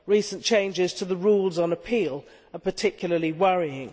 Recent changes to the rules on appeal are particularly worrying.